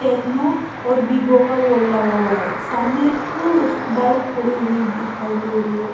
Techno और Vivo का board लगा हुआ है सामने एक इस बाइक खड़ी हुई दिखाई दे रही है।